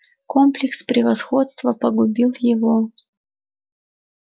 комплекс превосходства погубил его